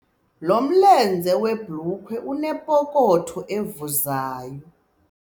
Lo mlenze webhulukhwe unepokotho evuzayo.